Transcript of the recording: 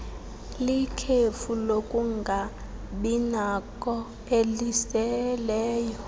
likhefu lokungabinakho eliseleyo